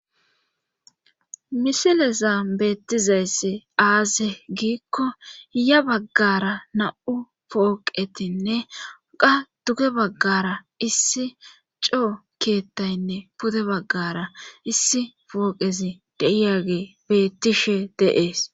misileza beettizayssi aaze giikko hiya baggara na7u pooqetinne qa duge baggara issi coo keettaynne pude baggara issi fooqezi deiyage bettishe deees